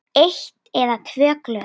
Eitt eða tvö glös.